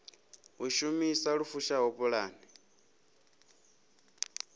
u shumisa lu fushaho pulane